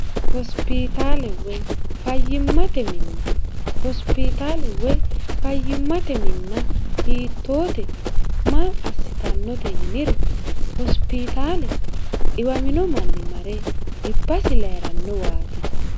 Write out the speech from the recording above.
hosipiitaale woy fayyimmate minna hosipitaale woy fayyimmate minna hiittoote ma assitannote yiniro hosipitaale dhiwamino manni mare dhibasi layi'rannowaati